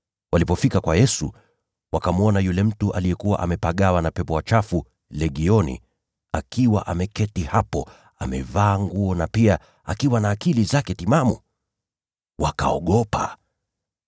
Walipofika kwa Yesu, wakamwona yule mtu aliyekuwa amepagawa na pepo wachafu legioni akiwa ameketi hapo, amevaa nguo na mwenye akili timamu. Wakaogopa.